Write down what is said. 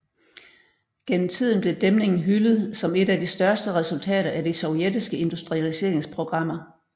Gennem tiden blev dæmningen hyldet som et af de største resultater af de sovjetiske industrialiseringsprogrammer